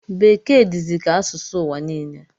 Bekee dizi ka asụsụ ụwa niile